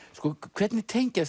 hvernig tengjast